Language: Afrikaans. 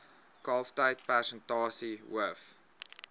kalftyd persentasie hoof